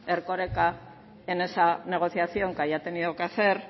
erkoreka en esa negociación que haya tenido que hacer